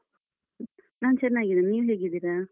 ನಾನ್ ಚೆನ್ನಾಗಿದ್ದೇನೆ. ನೀವ್ ಹೇಗಿದ್ದೀರ?